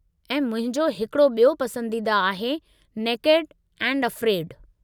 ऐं मुंहिंजो हिकड़ो ॿियो पसंदीदा आहे नेकेड एंड अफ्रेड।